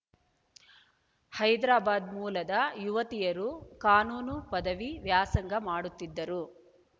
ಹೈದರಾಬಾದ್‌ ಮೂಲದ ಯುವತಿಯರು ಕಾನೂನು ಪದವಿ ವ್ಯಾಸಂಗ ಮಾಡುತ್ತಿದ್ದರು